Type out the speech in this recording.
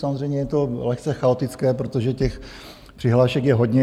Samozřejmě je to lehce chaotické, protože těch přihlášek je hodně.